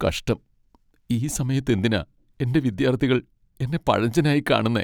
കഷ്ടം, ഈ സമയത്ത്, എന്തിനാ എന്റെ വിദ്യാർത്ഥികൾ എന്നെ പഴഞ്ചനായി കാണുന്നെ?